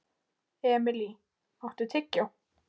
Emilý, áttu tyggjó?